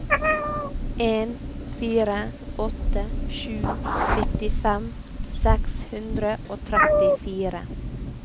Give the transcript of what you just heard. en fire åtte sju nittifem seks hundre og trettifire